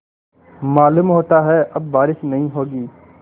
मालूम होता है अब बारिश नहीं होगी